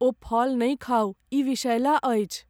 ओ फल नहि खाउ। ई विषैला अछि।